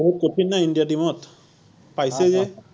বহুত কঠিন ন India team ত, পাইছে যে